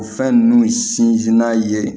O fɛn ninnu sinzinna ye